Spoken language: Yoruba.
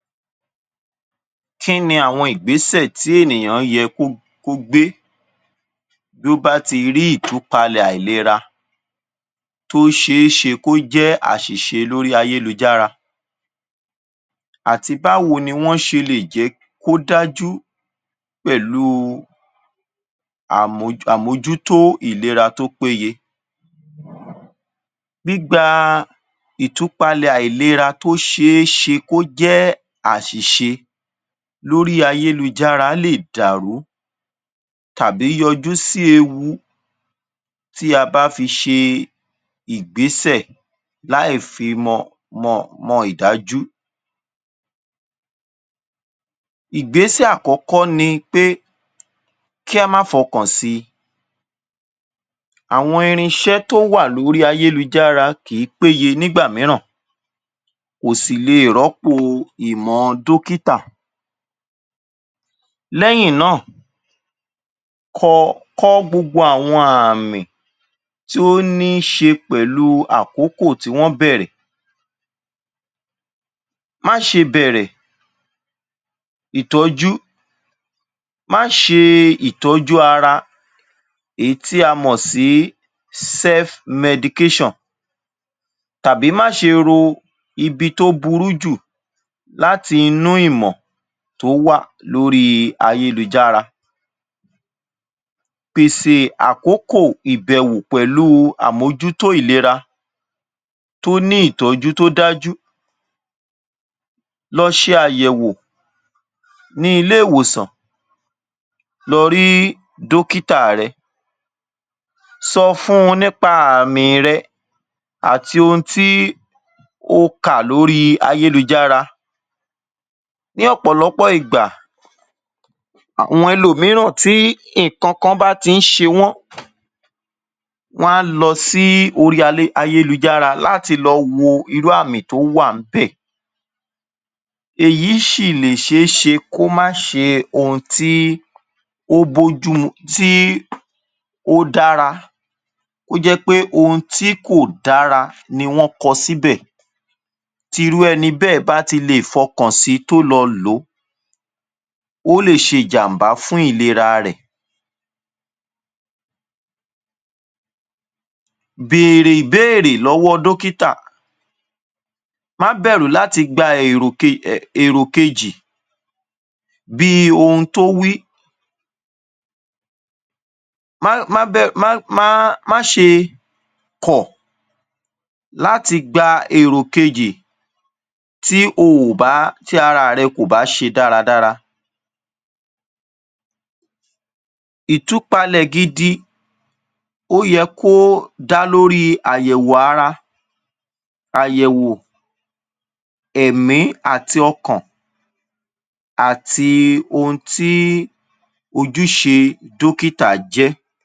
Kí ni àwọn ìgbésẹ̀ tí ènìyàn yẹ kó kó gbé tó bá ti rí ìtúpalẹ̀ àìlera tó ṣe é ṣe kó jẹ́ àṣìṣe lórí ayélujára àti báwo ni wọ́n ṣe lè jẹ́ kó dájú pẹ̀lú àmoj, àmojútó ìlera tó péye. Gbígba ìtúpalẹ̀ àìlera tó ṣe é ṣe kó jẹ́ àṣìṣe lórí ayélujára lè dàrú tàbí yọjú sì ewu tí a bá fi ṣe ìgbésẹ̀ láì fi mọ, mọ mọ ìdájú. Ìgbésẹ̀ àkókò ni pé kí á má fọkàn sì, àwọn irinṣẹ́ tó wà lórí ayélujára kí í péye nígbà mìíràn, kò sì lè rọ́pò ìmọ̀ dókítà. Lẹ́yìn náà, kọ kọ́ gbogbo àwọn àmì tí ó ni ṣe pẹ̀lú àkókò tí wọ́n bẹ̀rẹ̀, má ṣe bẹ̀rẹ̀ itoju, má ṣe ìtọ́jú ara èyí tí a mọọ̀ sí self-medication, tàbí má ṣe ro ibi tó burú jù láti inú ìmọ̀ tó wà lórí ayélujára. Pèsè àkókò ìbèwò pẹ̀lú àmojutó ìlera tó ní ìtọ́jú tó dájú, lọ ṣe àyẹ̀wò ní ilé ìwòsàn, lọ rí dókítà rẹ, sọ fún un nípa àmì rẹ, àti ohun tí o kà lórí ayélujára. Ní ọ̀pọ̀lọpọ̀ ìgbà, àwọn ẹlòmíràn tí nǹkan kan bá ti ń ṣe wọ́n, wọn a lọ sí ayélujára láti lọ wo irú àmì tó wà ńbẹ̀, èyí sì lè ṣe é ṣe kó má ṣe ohun tí o bójú mú, tí ó dára, kó jẹ́ pé ohun tí kò dára ni wón kọ síbẹ̀, tí irú ẹni bẹ́ẹ̀ bá ti lè fọkàn sí, tó lọ lọ̀ ó, ó lè ṣe jàm̀bá fún ìlera rẹ̀, béèrè ìbéèrè lọ́wọ́ dókítà, má bẹ̀rù láti gba èrò um èrò kejì, bí ohun tó wí, má bẹ̀rù má má má ṣe kọ̀ láti gba èrò kejì tí ó ò bá, tí ara rẹ kò bá ṣe dáradára. Ìtúpalẹ̀ gidi, ó yẹ kó dá lórí àyẹ̀wò ara, àyẹ̀wò èmí àti ọkàn, àti ohun tí ojúṣe dókítà jẹ́.